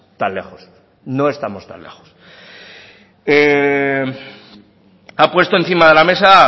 tan lejos no estamos tan lejos ha puesto encima de la mesa